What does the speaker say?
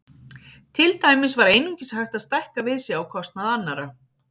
Til dæmis var einungis hægt að stækka við sig á kostnað annarra.